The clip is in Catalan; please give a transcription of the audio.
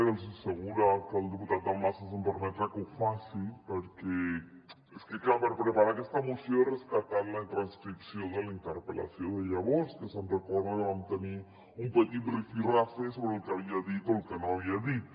i estic segura que el diputat dalmases em permetrà que ho faci perquè és que clar per preparar aquesta moció he rescatat la transcripció de la interpel·lació de llavors que se’n recorda que vam tenir un petit rifirrafe sobre el que havia dit o el que no havia dit